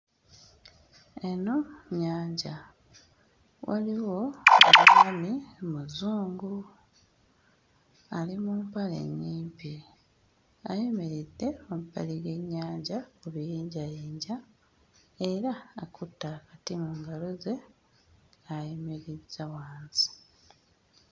Eno nnyanja; waliwo omwami muzungu, ali mu mpale nnyimpi ayimiridde emabbali g'ennyanja ku biyinjayinja era akutte akati mu ngalo ze ayimirizza wansi.